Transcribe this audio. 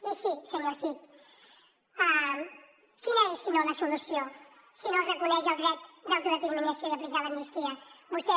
i sí senyor cid quina és si no la solució si no es reconeix el dret d’autodeterminació i aplicar l’amnistia vostè